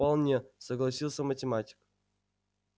вполне согласился математик